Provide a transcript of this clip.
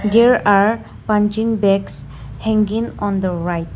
There are punching bags hanging on the right.